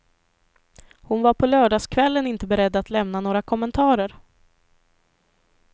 Hon var på lördagskvällen inte beredd att lämna några kommentarer.